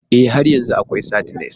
Ee, har yanzu akwai sardines.